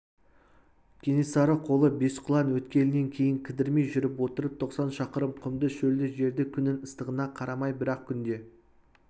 кенесары қолы бесқұлан өткелінен кейін кідірмей жүріп отырып тоқсан шақырым құмды шөлді жерді күннің ыстығына қарамай бір-ақ күнде